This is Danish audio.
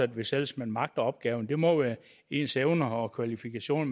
hvis ellers man magter opgaven det må være ens evner og kvalifikationer